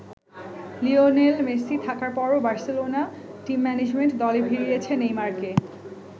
Lionel Messi থাকার পরও Barcelona team management দলে ভিড়িয়েছে নেইমারকে।